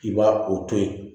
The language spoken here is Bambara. I b'a o to yen